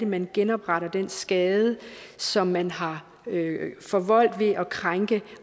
man genopretter den skade som man har forvoldt ved at krænke